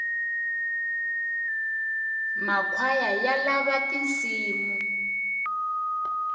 makhwaya ya lava tinsimu